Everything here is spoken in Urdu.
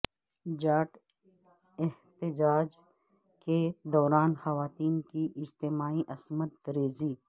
جاٹ احتجاج کے دوران خواتین کی اجتماعی عصمت ریزی